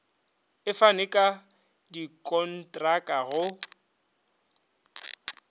e fane ka dikontraka go